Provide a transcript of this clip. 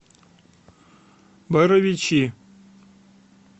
боровичи